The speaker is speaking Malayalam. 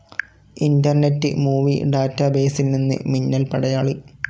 ഇന്റർനെറ്റ്‌ മൂവി ടാറ്റ ബസിൽ നിന്ന് മിന്നൽ പടയാളി